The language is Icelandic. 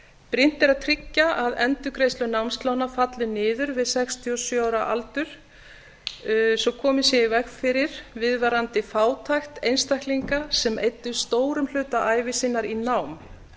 brýnt er að tryggja að endurgreiðslur námslána falli niður við sextíu og sjö ára aldur svo komið sé í veg fyrir viðvarandi fátækt einstaklinga sem eyddu stórum hluta ævi sinnar í nám